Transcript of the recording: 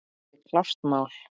Það er klárt mál.